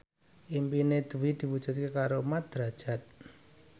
impine Dwi diwujudke karo Mat Drajat